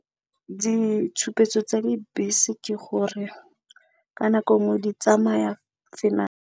Ditshupetso tsa dibese ke gore ka nako nngwe di tsamaya .